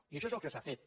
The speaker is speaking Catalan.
i això és el que s’ha fet